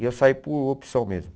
E eu saí por opção mesmo.